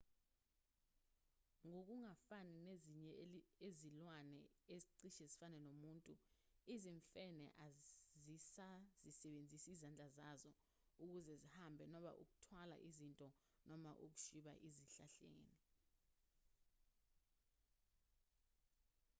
ngokungafani nezinye izilwane ezicishe zifane nomuntu izimfene azisazisebenzisi izandla zazo ukuze zihambe noma ukuthwala izinto noma ukushwiba ezihlahleni